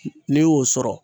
N'i y'o sɔrɔ